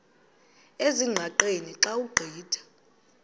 ezingqaqeni xa ugqitha